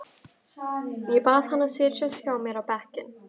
Ég bað hann að setjast hjá mér á bekkinn.